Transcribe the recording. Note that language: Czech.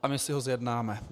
A my si ho zjednáme!